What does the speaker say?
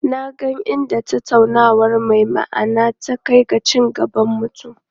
Na ga inda tattaunawa mai ma'ana ta kai ga ci gaban mutum.